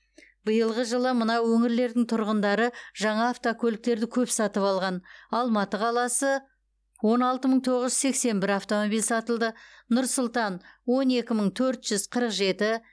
биылғы жылы мына өңірлердің тұрғындары жаңа автокөліктерді көп сатып алған алматы қаласы он алты мың тоғыз жүз сексен бір автомобиль сатылды нұр сұлтан он екі мың төрт жүз қырық жеті